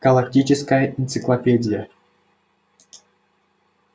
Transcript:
галактическая энциклопедия